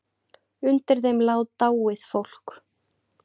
Undir þeim lá dáið fólk.